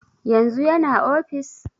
Yanzu yana ofis?